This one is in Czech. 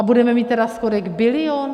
A budeme mít tedy schodek bilion?